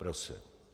Prosím.